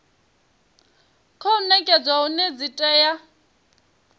khou nekedzwa hone dzi tea